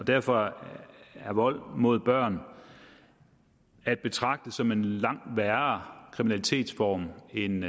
derfor er vold mod børn at betragte som en langt værre kriminalitetsform end